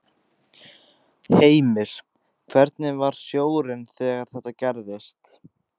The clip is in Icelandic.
Heimir: Hvernig var sjórinn þegar þetta gerðist?